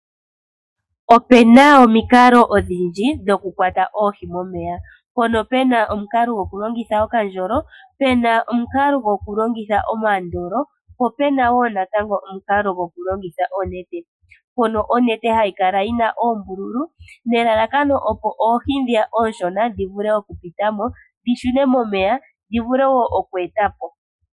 Opena omikalo odhindji dho kukwata oohi momeya. Mpono Pena omukalo go ku longitha okandjolo, Pena omukalo go kulongitha omandolo, pk Pena wo omukalo go kulongitha onete. Mpono onete hayi kala yina oombululu, ne lalakano opo oohi ndhiya ooshona dhi vule oku putamo, dhi shune momeya, dhi vule wo oku etapo.